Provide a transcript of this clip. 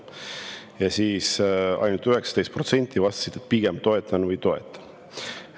Ja ainult 19% vastas, et pigem toetan või toetan.